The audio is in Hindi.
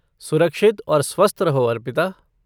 सुरक्षित और स्वस्थ रहो अर्पिता।